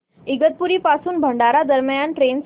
इगतपुरी पासून भंडारा दरम्यान ट्रेन सांगा